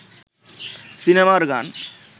সিনেমার গান